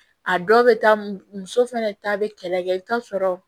A dɔw bɛ taa muso fɛnɛ ta bɛ kɛlɛ kɛ i bɛ taa sɔrɔ